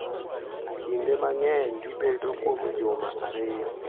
kinde mang’eny gibedo kuom juma ariyo,